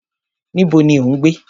Níbo ni o ń gbé?